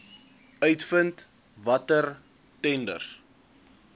uitvind watter tenders